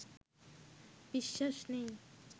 বিশ্বাস নেই